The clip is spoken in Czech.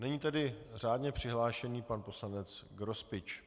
Nyní tedy řádně přihlášený pan poslanec Grospič.